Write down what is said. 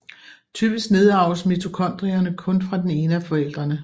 Typisk nedarves mitokondrierne kun fra den ene af forældrene